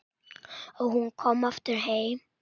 Og hún komin aftur heim.